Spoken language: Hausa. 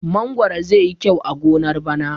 Mangwaro zai yi kyau a gonar bana.